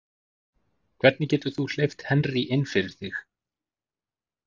Hvernig getur þú hleypt Henry inn fyrir þig?